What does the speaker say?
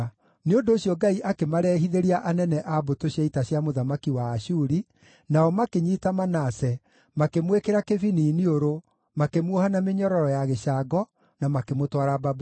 Nĩ ũndũ ũcio Ngai akĩmarehithĩria anene a mbũtũ cia ita cia mũthamaki wa Ashuri, nao makĩnyiita Manase, makĩmwĩkĩra kĩbini iniũrũ, makĩmuoha na mĩnyororo ya gĩcango, na makĩmũtwara Babuloni.